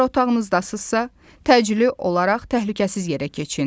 Əgər otağınızdasınızsa, təcili olaraq təhlükəsiz yerə keçin.